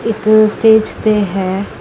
ਇੱਕ ਸਟੇਜ ਤੇ ਹੈ।